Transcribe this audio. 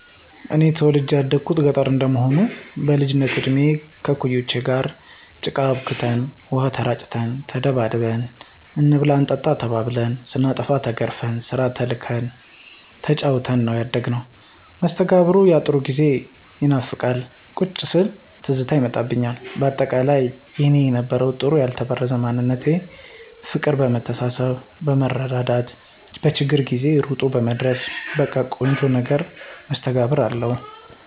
እኔ ተወልጀ ያደኩት ገጠረ እንደመሆኑ በልጅነት እድሜ ከእኩያወቸ ጋር ጭቃ አቡክተን፣ ውሃ ተራጭተን፣ ተደባድበን፣ እንብላ እንጠጣ ተባብልን፣ ስናጠፋ ተገርፈን፣ ስራ ተልከን ተጫውተን ነው ያደግነው። መስተጋብሩ ያጥሩ ጊዜ ይናፍቃል ቁጭ ስል ትዝታ ይመጣብኞል በአጠቃላይ የኔ የነበረው ጥሩ ያልተበረዘ ማንነት ፍቅር መተሳሰብ መረዳዳት በችግር ጊዜ እሮጦ መድረስ በቀ ቆንጆ ነገር መስተጋብር አለው።